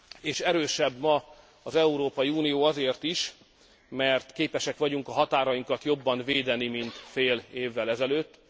És erősebb ma az Európai Unió azért is, mert képesek vagyunk a határainkat jobban védeni, mint fél évvel ezelőtt.